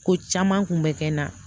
Ko caman kun bɛ kɛ n na